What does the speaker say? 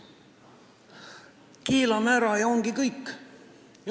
Keelame ära ja ongi kõik.